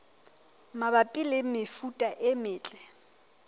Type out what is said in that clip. mabapi le mefuta e metle